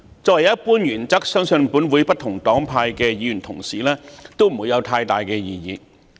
作為一般原則，相信本會不同黨派議員對此不會有太大異議。